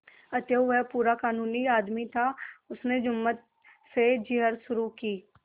अतएव वह पूरा कानूनी आदमी था उसने जुम्मन से जिरह शुरू की